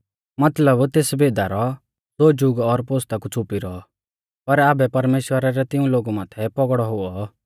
मतलब तेस भेदा रौ ज़ो जुग और पोसता कु छ़ुपी रौऔ पर आबै परमेश्‍वरा रै तिऊं लोगु माथै पौगड़ौ हुऔ